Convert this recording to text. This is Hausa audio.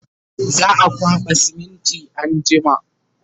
za'a kwaɓa siminti anjima